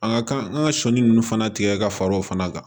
An ka kan an ka sɔni nunnu fana tigɛ ka fara o fana kan